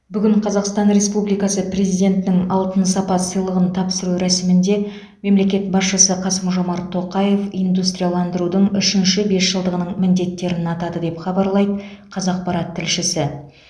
бүгін қазақстан республикасы президентінің алтын сапа сыйлығын тапсыру рәсімінде мемлекет басшысы қасым жомарт тоқаев индустрияландрудың үшінші бесжылдығының міндеттерін атады деп хабарлайды қазақпарат тілшісі